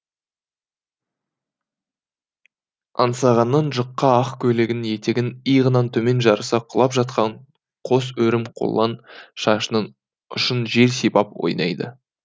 аңсағанның жұқа ақ көйлегінің етегін иығынан төмен жарыса құлап жатқан қос өрім қолаң шашының ұшын жел сипап ойнайды